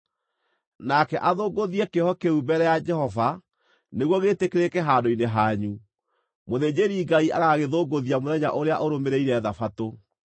Nake athũngũthie kĩohe kĩu mbere ya Jehova nĩguo gĩĩtĩkĩrĩke handũ-inĩ hanyu; mũthĩnjĩri-Ngai agagĩthũngũthia mũthenya ũrĩa ũrũmĩrĩire Thabatũ.